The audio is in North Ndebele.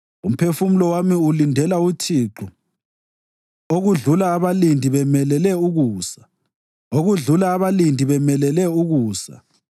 Umphefumulo wami ulindela uThixo okudlula abalindi bemelele ukusa, okudlula abalindi bemelele ukusa.